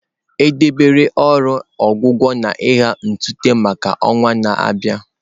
E debere ọrụ ọgwụgwọ na agha ntụte maka ọnwa na-abịa.